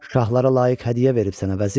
Şahlara layiq hədiyyə verib sənə, vəzir?